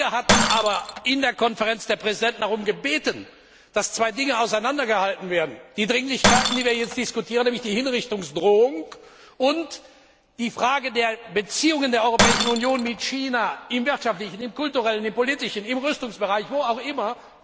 Wir hatten aber in der Konferenz der Präsidenten darum gebeten, dass zwei Dinge auseinandergehalten werden die Dringlichkeiten, die wir jetzt diskutieren, nämlich die drohenden Hinrichtungen, und die Frage der Beziehungen der Europäischen Union zu China im wirtschaftlichen, im kulturellen, im politischen, im Rüstungsbereich wo auch immer.